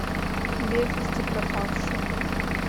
без вести пропавшие